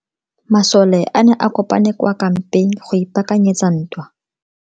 Masole a ne a kopane kwa kampeng go ipaakanyetsa ntwa.